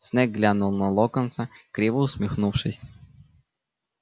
снег глянул на локонса криво усмехнувшись